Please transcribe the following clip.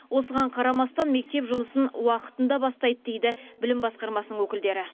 осыған қарамастан мектеп жұмысын уақытында бастайды дейді білім басқармасының өкілдері